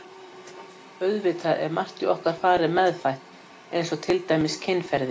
Auðvitað er margt í okkar fari meðfætt eins og til dæmis kynferði.